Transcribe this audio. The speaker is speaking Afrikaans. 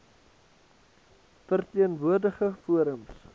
verteen woordigende forums